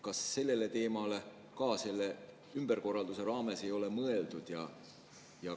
Kas sellele teemale ei ole selle ümberkorralduse raames mõeldud?